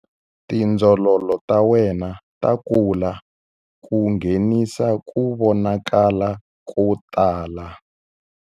Tindzololo ta wena ta kula ku nghenisa ku vonakala ko tala.